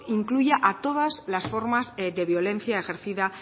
incluya a todas las formas de violencia ejercida